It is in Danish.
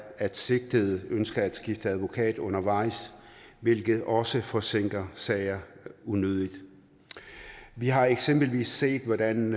at sigtede ønsker at skifte advokat undervejs hvilket også forsinker sager unødigt vi har eksempelvis set hvordan